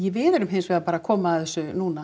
við erum hins vegar bara að koma að þessu núna